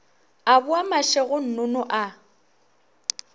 a boa mašego nnono a